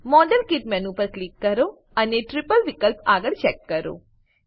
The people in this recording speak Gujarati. મોડેલકીટ મેનુ પર ક્લિક કરો અને ટ્રિપલ વિકલ્પ આગળ ચેક કરો